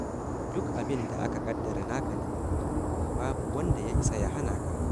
Duk abin da aka ƙaddara naka ne, to babu wanda yaisa ya hana ka.